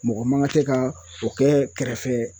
Mɔgɔ man ka tɛ ka o kɛ kɛrɛfɛ